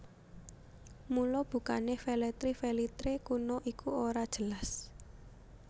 Mula bukané Velletri Velitrae kuna iku ora jelas